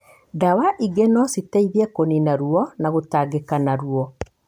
Ndawa ingĩ no citeithie kũnina ruo na gũtangika na ruo.